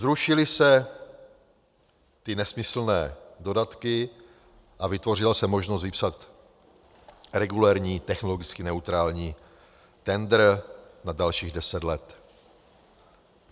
Zrušily se ty nesmyslné dodatky a vytvořila se možnost vypsat regulérní, technologicky neutrální tendr na dalších deset let.